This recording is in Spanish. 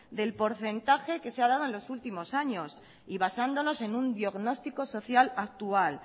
del porcentaje que se ha dado en los últimos años y basándonos en un diagnóstico social actual